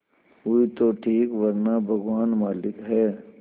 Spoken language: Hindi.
हुई तो ठीक वरना भगवान मालिक है